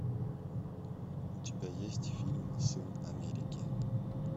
у тебя есть фильм сын америки